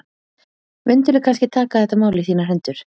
Mundirðu kannski taka þetta mál í þínar hendur?